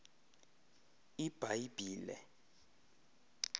ibhayibhile